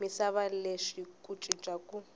misava lexi ku cinca ku